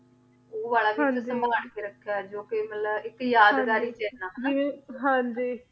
ਹਾਂਜੀ ਊ ਵਾਲਾ ਵੀ ਸੰਭਾਲ ਕੇ ਰਖ੍ਯਾ ਹੋਯਾ ਜੋ ਕੇ ਮਤਲਬ ਹਾਂਜੀ ਕੇ ਏਇਕ ਯਾਦਗਾਰੀ ਚ ਆਯ ਨਾ ਹਾਂਜੀ